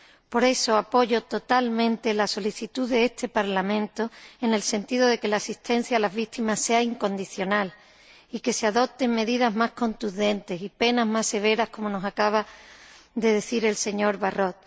Por eso, apoyo totalmente la solicitud de este Parlamento, en el sentido de que la asistencia a las víctimas sea incondicional y de que se adopten medidas más contundentes y penas más severas, como nos acaba de decir el señor Barrot.